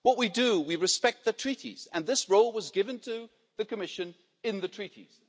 What we do is we respect the Treaties and this role was given to the Commission in the Treaties.